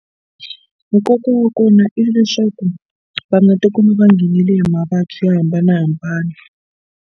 Nkoka wa kona i leswaku va nga tikuma va nghenile hi mavabyi yo hambanahambana.